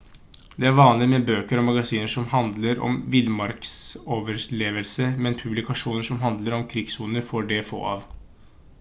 det er vanlig med bøker og magasiner som handler om villmarksoverlevelse men publikasjoner som handler om krigssoner er det få av